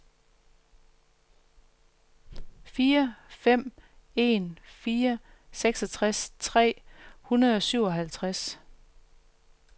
fire fem en fire seksogtres tre hundrede og syvoghalvtreds